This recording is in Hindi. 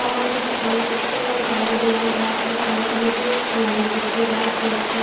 बहुत सारी दुकान छोटे-छोटे कंटेनर बनाए बहुत सारे खाने पीने के सामांस रखे गए हैं स्नेक है।